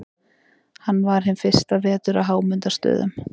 Hann var hinn fyrsta vetur á Hámundarstöðum.